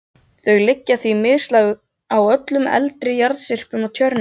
Þau liggja því mislæg á öllum eldri jarðlagasyrpum á Tjörnesi.